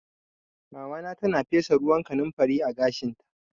Mamana tana fesa ruwan kanumfari a gashinta